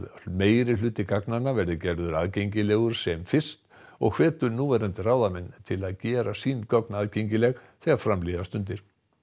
meirihluti gagnanna verði gerður aðgengilegur sem fyrst og hvetur núverandi ráðamenn til að gera sín gögn aðgengileg þegar fram líða stundir